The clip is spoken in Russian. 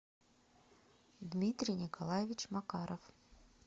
дмитрий николаевич макаров